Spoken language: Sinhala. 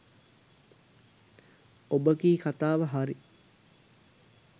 ඔබ කී කතාව හරි